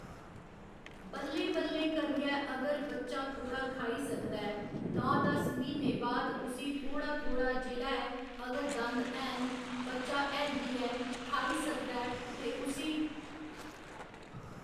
बल्लें बल्लें करियै अगर बच्चा थोह्ड़ा खाई सकदा ऐ नौ दस म्हीने बाद उसी थोह्‌ड़ा थोह्‌ड़ा जेह्ड़ा ऐ अगर दंद हैन बच्चा हैल्दी ऐ खाई सकदा ऐ ते उसी